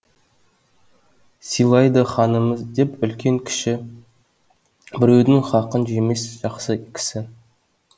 сыйлайды ханымыз деп үлкен кіші біреудің хақын жемес жақсы кісі